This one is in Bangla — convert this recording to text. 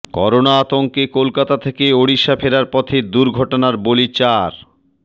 করোনা আতঙ্কে কলকাতা থেকে ওড়িশা ফেরার পথে দুর্ঘটনার বলি চার